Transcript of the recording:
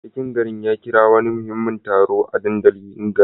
Sarkin garin ya kira wani muhimmin taro a dandalin garin.